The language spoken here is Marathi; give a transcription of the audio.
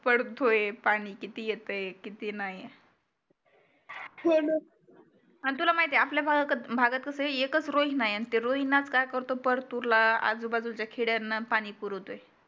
पडतोय पाणी किती येतंय किती नाही होणं अन तुला माहिती आपल्या भागात कसं एकच रोहीना नाहीये ते रोहिनात काय करतो परतूरला आजूबाजूच्या खड्यांना पाणी पुरवतो